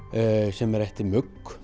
sem er eftir